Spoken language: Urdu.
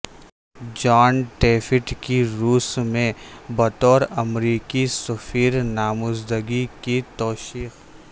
جان ٹیفٹ کی روس میں بطور امریکی سفیر نامزدگی کی توثیق